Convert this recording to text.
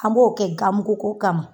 An b'o kɛ gan mugu ko kama.